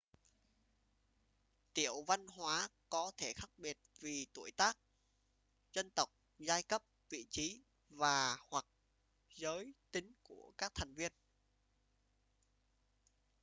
tiểu văn hóa có thể khác biệt vì tuổi tác dân tộc giai cấp vị trí và/hoặc giới tính của các thành viên